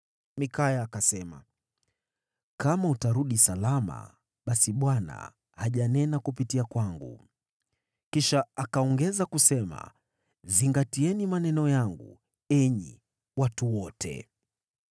Mikaya akasema, “Kama utarudi salama, basi Bwana hajanena kupitia kwangu.” Kisha akaongeza kusema, “Zingatieni maneno yangu, enyi watu wote!”